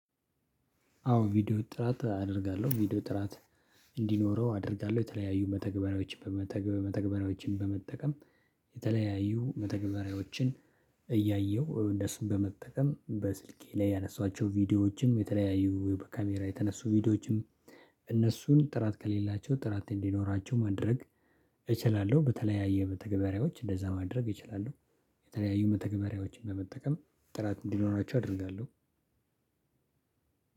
አዎ ቪዲዮ ጥራት አደርጋለሁ ቪዲዮ ጥራት እንዲኖረው አደርጋለሁ። የተለያዩ መተግበሪያዎችን በመተግበሪያዎችን በመጠቀም የተለያዩ መተግበሪያዎችን እያየሁ እነሱም በመጠቀም በስልኬ ላይ ያነሷቸው ቪዲዮዎችም የተለያዩ ወይ በካሜራ የተነሱ ቪዲዮዎችም። እነሱን ጥራት ከሌላቸው ጥራት እንዲኖራቸው ማድረግ እችላለሁ በተለያዩ መተገበሪያዎች እንደዛ ማድረግ እችላለሁ። የተለያዩ መተግበሪያዎችን በመጠቀም ጥራት እንዲኖራችሁ አደርጋለሁ።